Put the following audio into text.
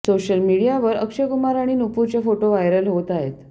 social मीडियावर अक्षयकुमार आणि नुपूरचे फोटो व्हायरल होत आहेत